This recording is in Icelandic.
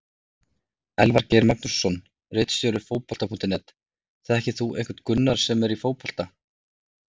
Elvar Geir Magnússon ritstjóri Fótbolta.net: Þekkir þú einhvern Gunnar sem er í fótbolta?